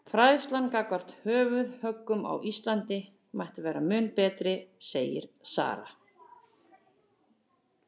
Fræðslan gagnvart höfuðhöggum á Íslandi mætti vera mun betri segir Sara.